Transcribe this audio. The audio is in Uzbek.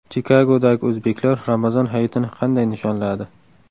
Chikagodagi o‘zbeklar Ramazon hayitini qanday nishonladi?